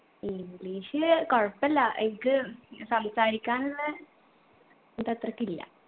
english കൊഴപ്പല്ല എനിക്ക് സംസാരിക്കാനുള്ള ഇത് അത്രക്കില്ല